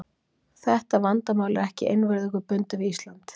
Þetta vandamál er ekki einvörðungu bundið við Ísland.